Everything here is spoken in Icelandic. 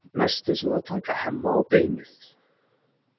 Næst er svo að taka Hemma á beinið.